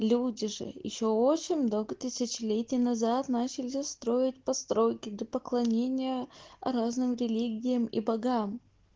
люди же ещё очень много тысячелетий назад начали строить постройки для поклонения разным религиям и богам